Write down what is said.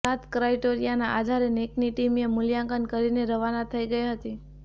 સાત ક્રાઈટેરિયાના આધારે નેકની ટીમએ મૂલ્યાંકન કરીને રવાના થઈ ગઈ હતી